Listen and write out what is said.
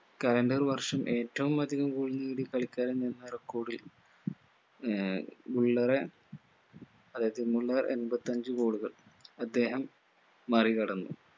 calender വർഷം ഏറ്റവും അധികം goal നേടിയ കളിക്കാരൻ എന്ന record ൽ ആഹ് ബുള്ളെറെ അതായത് മുള്ളർ എൺപത്തഞ്ഞു goal കൾ അദ്ദേഹം മറികടന്നു